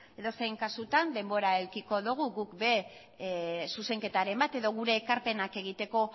edozein kasutan denbora edukiko dugu guk ere zuzenketaren bat edo gure ekarpenak egiteko